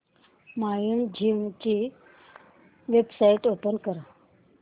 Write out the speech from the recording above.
Mindgym ची website open कर